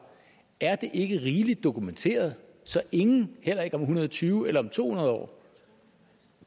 er det ikke rigeligt dokumenteret så ingen heller ikke om en hundrede og tyve eller to hundrede år